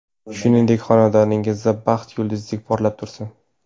Shuningdek xonadoningizda baxt yulduzdek porlab tursin.